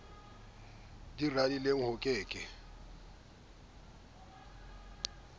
di radileng ho ke ke